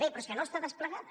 bé però és que no està desplegada